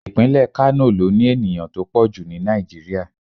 Ìpínlẹ̀ Kánò ló ní ènìyàn tó pọ̀ jù ni Nigeria.